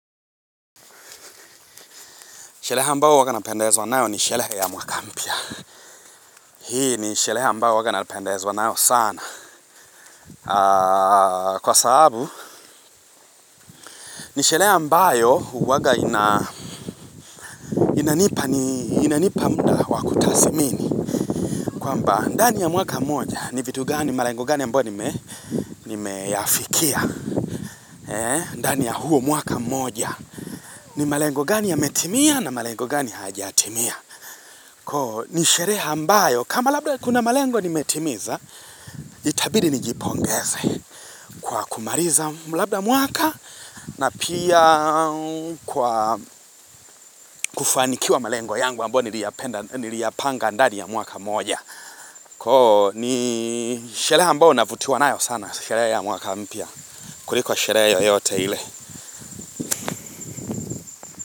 Sherehe ambao huwaga napendezwa wanao ni nisherehe ya mwaka mpya. Hii nisherehe ambao huwaga napendezwa wanao sana. Kwa sababu, nisherehe mbayo huwaga inanipa muda wakutasmini. Kwamba, ndani ya mwaka moja ni vitu gani, malengo gani ya ambayo nimeyafikia. Ndani ya huo mwaka mmoja ni malengo gani yametimia na malengo gani hajatimia. Kwa nisherehe mbayo, kama labda kuna malengo ni metimiza, Itabidi nijipongeze kwa kumaliza mwaka na pia kufanikiwa malengo yangu ambayo niliyapanga ndani ya mwaka mmoja. Koo ni sherehe ambayo navutiwa nayo sana shereha ya mwaka mpya. Kurliko sherehe yote ile.